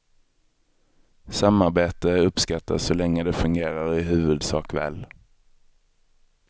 Samarbete uppskattas så länge det fungerar i huvudsak väl.